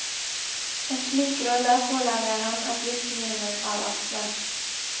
En slik rolle pålegger ham et visst minimum av ansvar.